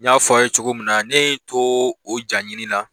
N y'a fɔ aw ye cogo min na ne ye n to o jaɲini na